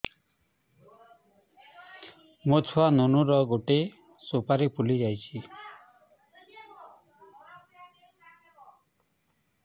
ମୋ ଛୁଆ ନୁନୁ ର ଗଟେ ସୁପାରୀ ଫୁଲି ଯାଇଛି